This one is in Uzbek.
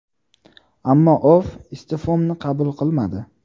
Ammo O‘FF iste’fomni qabul qilmadi.